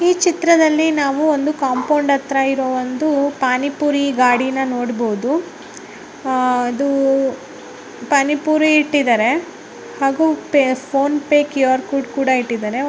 ಈ ಚಿತ್ರದಲ್ಲಿ ನಾವು ಒಂದು ಕಾಂಪೌಂಡ್ ಆತ್ರ ಇರೋ ಒಂದು ಪಾನಿ ಪುರಿ ಗಾಡಿನ ನೋಡಬಹುದು ಆ ಅದು ಪಾನಿ ಪುರಿ ಇಟ್ಟಿದರೆ ಹಾಗು pay PhonePe QR code ಕೂಡ ಇಟ್ಟಿದರೆ .